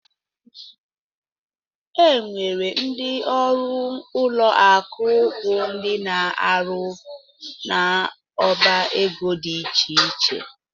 Enwere ndị ọrụ ụlọ akụ bụ ndị ná -aru n'ọbá égo dị iche iche.